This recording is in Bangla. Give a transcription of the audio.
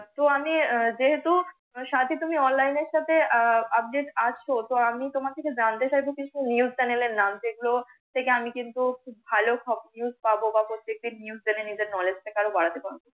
তো আমি যেহেতু সাথী তুমি online এর সাথে আহ update আছ তো আমি তোমার থেকে জানতে চাইব কিন্ত news channel নাম। যে গুলো থেকে আমি কিন্ত ভাল খব নিউজ পাব বা প্রত্যেক দিন নিউজ থেকে নিজের knowledge বাড়াতে পারব।